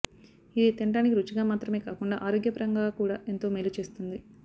ఇది తినటానికి రుచిగా మాత్రమే కాకుండా ఆరోగ్యపరంగా కూడా ఎంతో మేలు చేస్తుంది